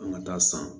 An ka taa san